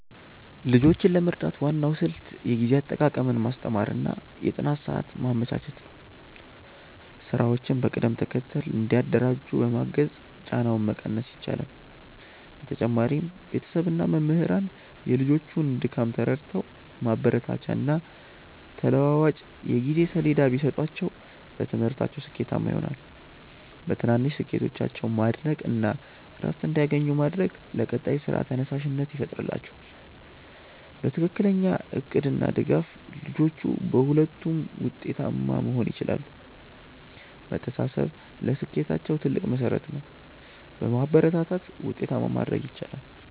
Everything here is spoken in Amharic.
ልጆችን ለመርዳት ዋናው ስልት የጊዜ አጠቃቀምን ማስተማር እና የጥናት ሰዓት ማመቻቸት ነው። ስራዎችን በቅደም ተከተል እንዲያደራጁ በማገዝ ጫናውን መቀነስ ይቻላል። በተጨማሪም ቤተሰብ እና መምህራን የልጆቹን ድካም ተረድተው ማበረታቻና ተለዋዋጭ የጊዜ ሰሌዳ ቢሰጧቸው በትምህርታቸው ስኬታማ ይሆናሉ። በትናንሽ ስኬቶቻቸው ማድነቅ እና እረፍት እንዲያገኙ ማድረግ ለቀጣይ ስራ ተነሳሽነት ይፈጥርላቸዋል። በትክክለኛ እቅድ እና ድጋፍ ልጆቹ በሁለቱም ውጤታማ መሆን ይችላሉ። መተሳሰብ ለስኬታቸው ትልቅ መሠረት ነው። በማበረታታት ውጤታማ ማድረግ ይቻላል።